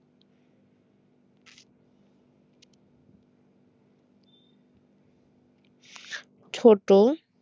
ছোট